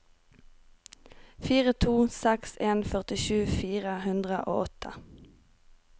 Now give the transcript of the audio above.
fire to seks en førtisju fire hundre og åtte